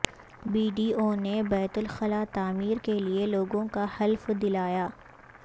be D O نے بیت الخلاء تعمیر کیلئے لوگوں کا حلف دلایا